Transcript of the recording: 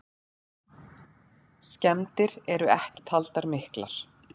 Skemmdir eru ekki taldar miklar.